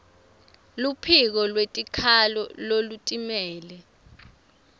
luphiko lwetikhalo lolutimele